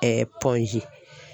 Point G.